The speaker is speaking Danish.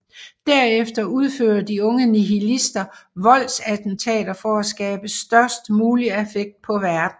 Derefter udfører de unge nihilistister voldsattentater for at skabe størst mulig affekt på verden